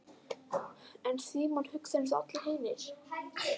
En Símon hugsar einsog allir hinir.